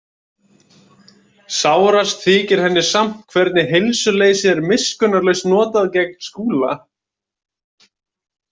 Sárast þykir henni samt hvernig heilsuleysið er miskunnarlaust notað gegn Skúla.